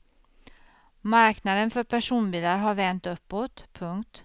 Marknaden för personbilar har vänt uppåt. punkt